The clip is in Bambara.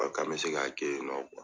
A Ko an bɛ se k'a kɛ yen nɔ .